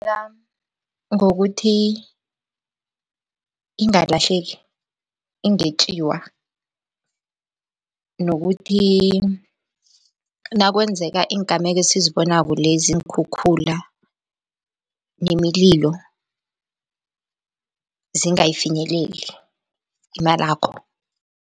ngokuthi ingalahleki, ingetjiwa nokuthi nakwenzeka iingameko esizibonako lezi iinkhukhula nemililo, zingayifinyeleli imalakho.